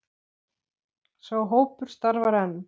Sá hópur starfar enn.